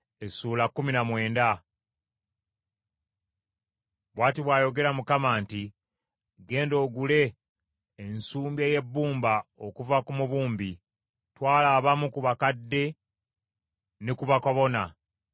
Bw’ati bw’ayogera Mukama nti, “Genda ogule ensumbi ey’ebbumba okuva ku mubumbi. Twala abamu ku bakadde ne ku bakabona,